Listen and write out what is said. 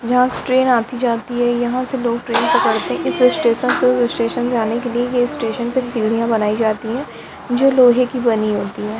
यहाँ से ट्रेन आती-जाती है यहाँ से लोग ट्रेन पकड़ते हैं इस स्टेशन से उस स्टेशन जाने के लिए ये स्टेशन पे सीढ़ियां बनाई जाती है जो लोहे की बनी होती है।